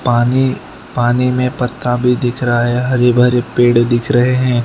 पानी पानी में पत्ता भी दिख रहा है हरे भरे पेड़ दिख रहे हैं।